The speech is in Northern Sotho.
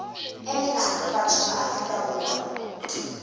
emela batho ba afrika borwa